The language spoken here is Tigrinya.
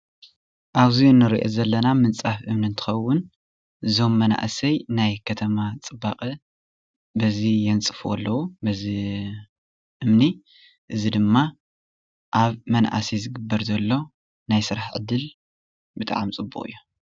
ኣብዚ እንሪኦ ዘለና ምንፃፍ እምኒ እንትኸውን እዞም መናእሰይ ናይ ከተማ ፅባቐ በዚ የንፅፍዎ ኣለው፣ እዚ እምኒ እዚ ድማ ኣብ መናእሰይ ዝግበር ዘሎ ናይ ስራሕ ዕድል ብጣዕሚ ፅቡቅ እዩ፡፡